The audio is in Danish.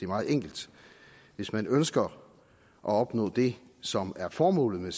meget enkelt hvis man ønsker at opnå det som er formålet